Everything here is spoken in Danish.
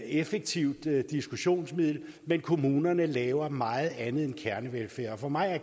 effektivt diskussionsmiddel men kommunerne laver meget andet end kernevelfærd for mig er